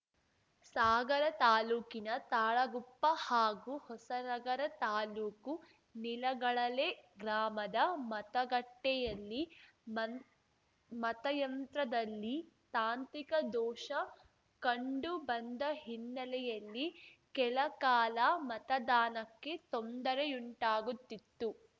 ಸಾಗರ ತಾಲೂಕಿನ ತಾಳಗುಪ್ಪ ಹಾಗೂ ಹೊಸನಗರ ತಾಲೂಕು ನಿಲಗಳಲೆ ಗ್ರಾಮದ ಮತಗಟ್ಟೆಯಲ್ಲಿ ಮಂತ್ ಮತಯಂತ್ರದಲ್ಲಿ ತಾಂತ್ರಿಕ ದೋಷ ಕಂಡುಬಂದ ಹಿನ್ನೆಲೆಯಲ್ಲಿ ಕೆಲಕಾಲ ಮತದಾನಕ್ಕೆ ತೊಂದರೆಯುಂಟಾಗುತ್ತಿತ್ತು